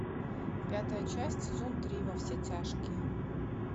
пятая часть сезон три во все тяжкие